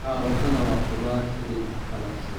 Karootada waa khudaar xidid qallafsan.